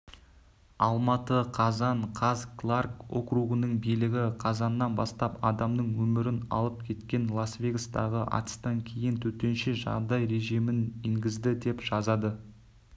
алматы қазан қаз кларк округінің билігі қазаннан бастап адамның өмірін алып кеткен лас-вегастағы атыстан кейін төтенше жағдай режимін енгізді деп жазады